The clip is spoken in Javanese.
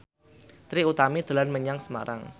Trie Utami dolan menyang Semarang